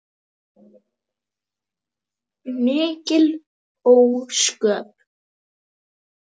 Mikil ósköp.